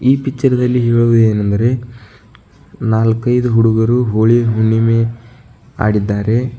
ಈ ಪಿಚ್ಚರದಲ್ಲಿ ಹೇಳುವುದೇನೆಂದರೆ ನಾಲ್ಕೈದು ಹುಡುಗರು ಹೋಳಿ ಹುಣ್ಣಿಮೆಯನ್ನು ಹಾಡಿದ್ದಾರೆ.